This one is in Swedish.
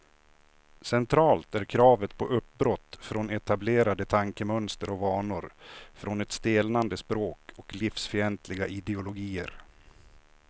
Centralt är kravet på uppbrott från etablerade tankemönster och vanor, från ett stelnande språk och livsfientliga ideologier.